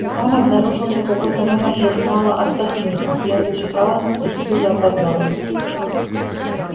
но там обнаружился какой-то номер журнала отдохни я зачиталась и всюду опоздала